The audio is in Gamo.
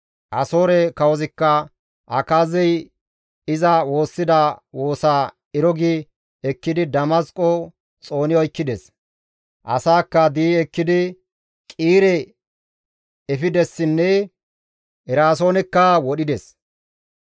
Asoore kawozikka Akaazey iza woossida woosa Ero gi ekkidi Damasqo xooni oykkides. Asaakka di7i ekkidi Qiire geetettizasoho efidessinne Eraasoonekka wodhides.